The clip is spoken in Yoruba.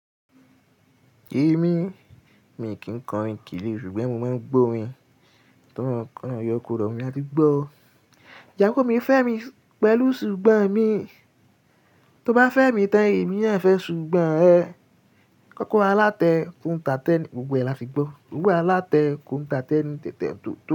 Èmi, mi kì í ko orin kiri, ṣùgbọ́n mo máa ń gbọ́ orin tó mọ́ kán yọ kò rọ̀ mí áti gbọ́ o. Ìyàwó mi fẹ́ mi pẹ̀lú ṣùgbọ́n mi, tó bá fẹ́ mi tán, èmi náà fẹ́ ṣùgbọ́n ẹ. Kọ́kọ́ro alátẹ ouń tàtẹ ni, gbogbo ẹ̀ láti gbọ́. Owo alátẹ ko ń tàtẹ ni tètè n tóto.